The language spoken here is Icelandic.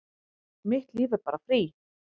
Mitt líf er bara frí